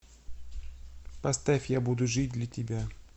поставь я буду жить для тебя